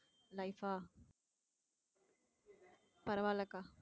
life ஆ பரவாயில்லைக்கா